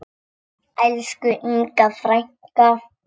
Elsku Inga frænka.